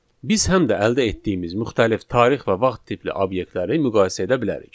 Biz həm də əldə etdiyimiz müxtəlif tarix və vaxt tipli obyektləri müqayisə edə bilərik.